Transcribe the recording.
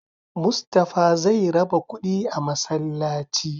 Mustapha zai raba kuɗi a masallaci